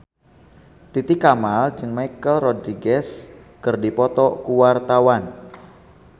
Titi Kamal jeung Michelle Rodriguez keur dipoto ku wartawan